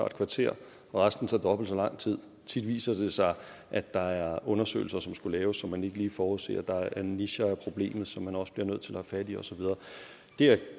et kvarter og resten tager dobbelt så lang tid tit viser det sig at der er undersøgelser som skulle laves som man ikke lige forudser der er nicher af problemet som man også bliver nødt til at have fat i og så videre det jeg